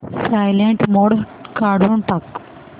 silent mode काढून टाक